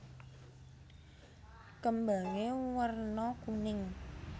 Kembangé werna kuning